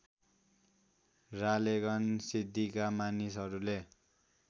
रालेगन सिद्दिका मानिसहरूले